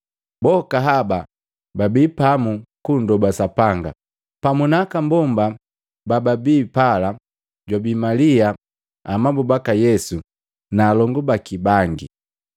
Boka haba babi pamu kunndoba Sapanga, pamu na aka mbomba bababi pala, jwabii Malia amabu baka Yesu na alongu baki bangi.